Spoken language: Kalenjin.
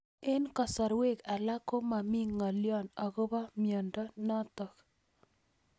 Eng'kasarwek alak ko mami ng'alyo akopo miondo notok